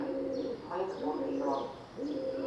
мы из будущего